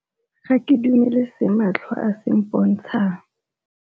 Ga ke dumele se matlho a se mpontshang.